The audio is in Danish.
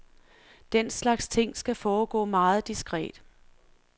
Den slags ting skal foregå meget diskret.